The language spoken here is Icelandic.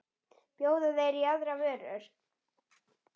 Bjóða þeir í aðrar vörur?